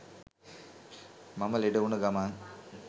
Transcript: මම ලෙඩවුණ ගමන්